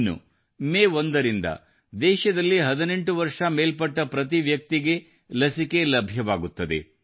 ಇನ್ನು ಮೇ 1ರಿಂದ ದೇಶದಲ್ಲಿ 18 ವರ್ಷ ಮೇಲ್ಪಟ್ಟ ಪ್ರತಿ ವ್ಯಕ್ತಿಗೆ ಲಸಿಕೆ ಲಭ್ಯವಾಗುತ್ತದೆ